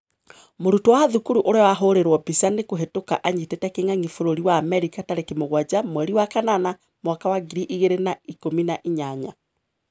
Mũrutwo wa thukuru ũria wahũrĩrwo mbica nĩ kũhĩtũka anyitĩte kĩng'ang'i bũrũri wa Amerika tarĩki mũgwanja mweri wa kanana mwaka wa ngiri igĩrĩ na ikũmina inyanya